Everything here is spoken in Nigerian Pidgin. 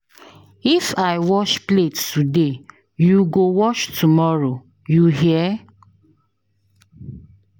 If I wash plate today, you go wash tomorrow, you hear?